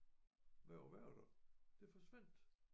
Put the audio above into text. Med at være der det forsvandt